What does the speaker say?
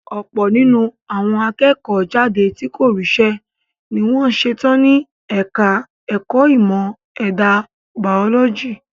Ọ̀pọ̀ nínú àwọn akẹ́kọ̀ọ́ jáde tí kò ríṣẹ́ ní wọ́n ṣetán ní ẹka ẹ̀kọ́ ìmọ̀ ẹ̀dà bàólọ́jì.